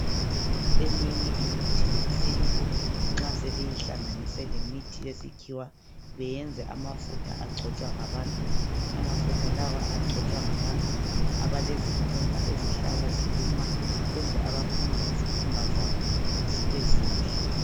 Iminye imithi yesintu nxa sebeyihlanganise lemithi yesikhiwa beyenze amafutha agcotshwa ngabantu , amafutha lawa agcotshwa ngabantu abelezikhumba ezihlala ziluma kumbe abafuna izikhumba zabo zibe zinhle.